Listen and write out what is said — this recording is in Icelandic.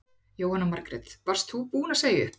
Jóhanna Margrét: Varst þú búin að segja upp?